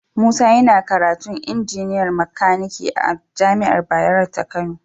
Musa yana karatu injiniyar makani a jami'ar Bayero ta Kano